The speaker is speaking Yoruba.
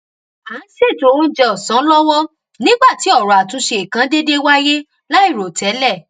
à ń ṣètò oúnjẹ òsán lọwọ nígbà tí ọrọ àtúnṣe kan dédé wáyé láìròtélè